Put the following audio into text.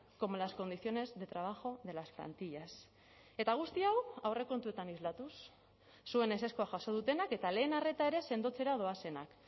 como las condiciones de trabajo de las plantillas eta guzti hau aurrekontuetan islatuz zuen ezezkoa jaso dutenak eta lehen arreta ere sendotzera doazenak